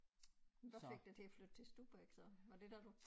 Hvad fik dig til at flytte til Stubbæk så var det da du